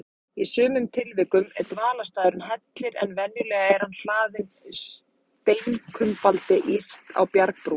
Í sumum tilvikum er dvalarstaðurinn hellir, en venjulega er hann hlaðinn steinkumbaldi yst á bjargbrún.